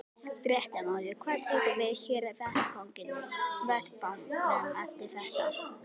Fréttamaður: Hvað tekur við hér á vettvangnum eftir þetta?